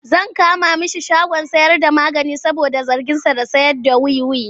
Zan kama mai shagon sayarda magani saboda zarginsa da sayarda wiwi.